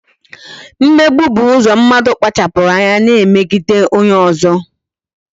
Mmegbu bụ ụzọ mmadụ kpachapụrụ anya na-emegide onye ọzọ